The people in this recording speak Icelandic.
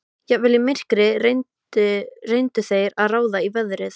Jafnvel í myrkri reyndu þeir að ráða í veðrið.